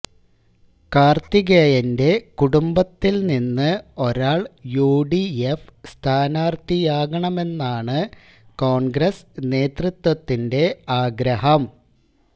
കാര്ത്തികേയന്റെ കുടുംബത്തില്നിന്ന് ഒരാള് യുഡിഎഫ് സ്ഥാനാര്ത്ഥിയാകണമെന്നാണ് കോണ്ഗ്രസ് നേതൃത്വത്തിന്റെ ആഗ്രഹം